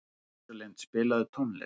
Rósalind, spilaðu tónlist.